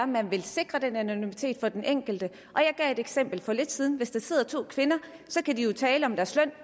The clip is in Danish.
man vil sikre den anonymitet for den enkelte og jeg gav et eksempel for lidt siden hvis der sidder to kvinder kan de jo tale om deres løn